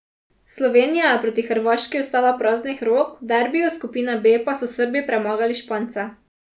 Slovenija je proti Hrvaški ostala praznih rok, v derbiju skupine B pa so Srbi premagali Špance.